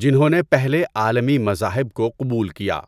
جنہوں نے پہلے عالمی مذاہب کو قبول کیا۔